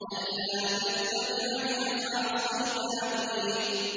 أَلَّا تَتَّبِعَنِ ۖ أَفَعَصَيْتَ أَمْرِي